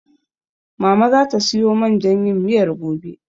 Mama zata siyo man jan yin miyar gobe.